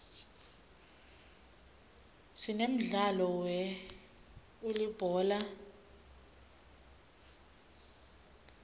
sinemdlalo we uulibhola